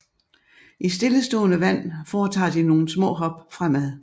I stillestående vand foretager de nogle små hop fremad